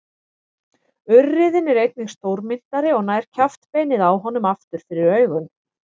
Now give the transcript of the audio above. Urriðinn er einnig stórmynntari og nær kjaftbeinið á honum aftur fyrir augun.